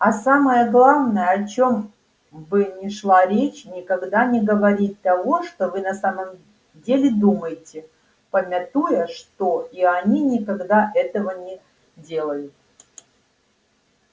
а самое главное о чем бы ни шла речь никогда не говорить того что вы на самом деле думаете памятуя что и они никогда этого не делают